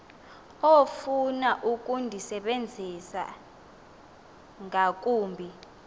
ofuna ukundisebenzisa ngakumbi